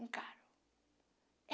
Encaro.